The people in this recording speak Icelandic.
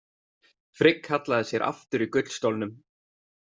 Frigg hallaði sér aftur í gullstólnum.